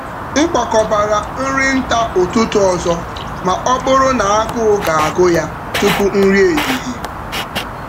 M kwakọbara nri nta ụtụtụ um ọzọ ma ọ bụrụ na agụụ ga-agụ ya tupu nri ehihie.